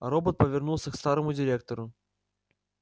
робот повернулся к старому директору